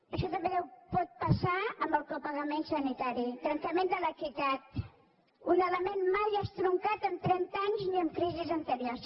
això també pot passar amb el copagament sanitari trencament de l’equitat un element mai estroncat en trenta anys ni en crisis anteriors